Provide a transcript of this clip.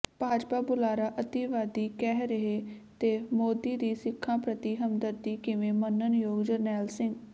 ਭਾਜਪਾ ਬੁਲਾਰਾ ਅਤਿਵਾਦੀ ਕਹਿ ਰਿਹੈ ਤੇ ਮੋਦੀ ਦੀ ਸਿੱਖਾਂ ਪ੍ਰਤੀ ਹਮਦਰਦੀ ਕਿਵੇਂ ਮੰਨਣਯੋਗ ਜਰਨੈਲ ਸਿੰਘ